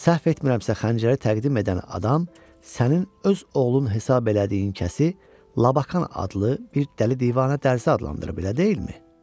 Səhv etmirəmsə xəncəri təqdim edən adam sənin öz oğlun hesab elədiyin kəsi Labakan adlı bir dəli-divanə dərzisi adlandırıb, elə deyilmi?